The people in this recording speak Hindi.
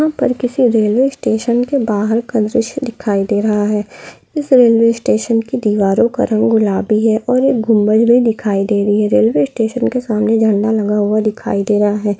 यहाँ पर किसी रेलवेस्टेशन के बाहर का दृश्य दिखाई दे रहा हे इस रेलवे स्टेशन की दीवारों का रंग गुलाबी है और एक गुम्बज भी दिखाई दे रही है रेलवे स्टेशन के सामने झंडा लगा हुआ दिखाई दे रहा है।